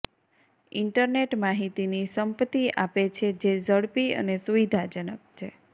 internet માહિતીની સંપત્તિ આપે છે જે ઝડપી અને સુવિધાજનક છે